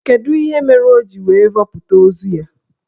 Kedụ ihe mere o ji wee vọpụta ozu ya?